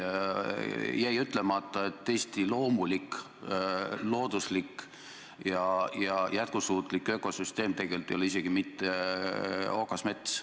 Jäi ütlemata, et Eesti loomulik, looduslik ja jätkusuutlik ökosüsteem tegelikult ei ole isegi mitte okasmets.